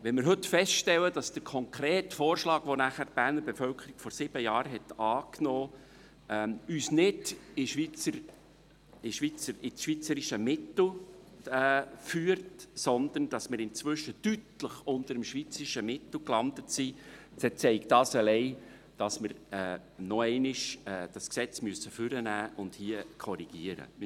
Wenn wir heute feststellen, dass der konkrete Vorschlag, den die Berner Bevölkerung vor sieben Jahren angenommen hat, uns nicht ins schweizerische Mittel führt, sondern dass wir inzwischen deutlich unter dem schweizerischen Mittel gelandet sind, dann zeigt das allein, dass wir das Gesetz noch einmal hervornehmen und hier korrigieren müssen.